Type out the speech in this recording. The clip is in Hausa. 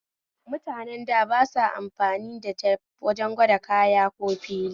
Mutanen da ba sa amfani the tep wajen gwajin kaya ko fili